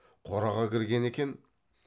қораға кірген екен